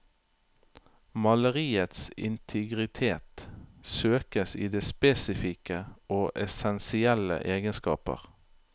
Maleriets integritet søkes i dets spesifikke og essensielle egenskaper.